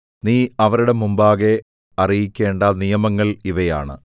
നീ അവരുടെ മുമ്പാകെ അറിയിക്കേണ്ട നിയമങ്ങൾ ഇവയാണ്